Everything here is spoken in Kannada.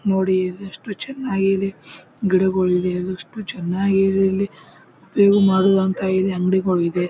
ನೋಡಿ ಇದು ಎಷ್ಟು ಚೆನ್ನಾಗಿ ಇದೆ. ಗಿಡಗೋಳ ಇದೆ ಎಷ್ಟು ಚೆನ್ನಾಗಿ ಇದೆ ಇಲ್ಲಿ. ಬೇವು ಮರದ ಅಂಗಡಿಗಳು ಇವೆ.